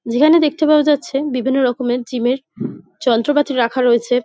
যেখানে দেখতে পাওয়া যাচ্ছে বিভিন্ন রকমের জিম -এর যন্ত্রপাতি রাখা রয়েছে।